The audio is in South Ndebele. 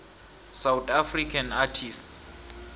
south african artists